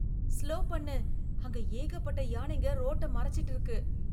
Slow பண்ணு! அங்கே ஏகப்பட்ட யானைங்க ரோட்ட மறைச்சிட்டு இருக்கு.